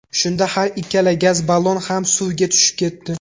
Shunda har ikkala gaz ballon ham suvga tushib ketdi.